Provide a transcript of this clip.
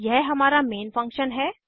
यह हमारा main function है